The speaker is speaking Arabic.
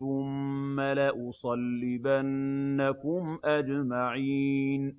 ثُمَّ لَأُصَلِّبَنَّكُمْ أَجْمَعِينَ